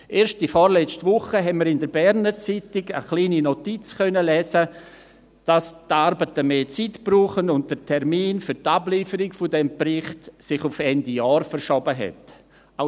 Erst in der vorletzten Woche konnten wir in der «Berner Zeitung» eine kleine Notiz lesen, dass die Arbeiten mehr Zeit brauchen und sich der Termin für die Ablieferung dieses Berichts auf Ende Jahr verschoben hat.